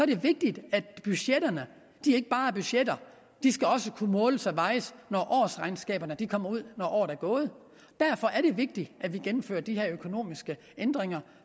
det vigtigt at budgetterne ikke bare er budgetter de skal også kunne måles og vejes når årsregnskaberne kommer ud når året er gået derfor er det vigtigt at vi gennemfører de her økonomiske ændringer